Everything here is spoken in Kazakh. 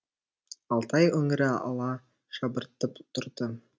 алтай өңірі ала шабыртып тұрды